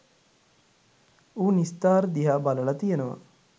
ඌ නිස්තාර් දිහා බලල කියනවා